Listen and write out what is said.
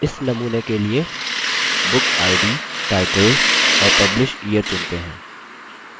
इस नमूने के लिए bookid title और publishyear चुनते हैं